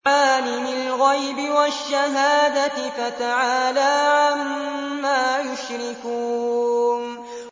عَالِمِ الْغَيْبِ وَالشَّهَادَةِ فَتَعَالَىٰ عَمَّا يُشْرِكُونَ